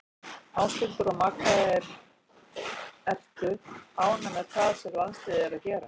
Ásthildur og Magga Ertu ánægð með það sem landsliðið er að gera?